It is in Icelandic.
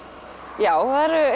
já